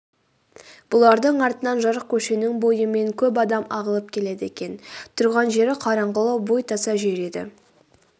бұлардың артынан жарық көшенің бойымен көп адам ағылып келеді екен тұрған жері қараңғылау бой таса жер еді